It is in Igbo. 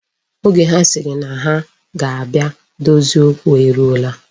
Oge ha sịrị na ha ga-abịa dozie okwu eruwala.